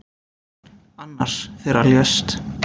Annars þeirra lést.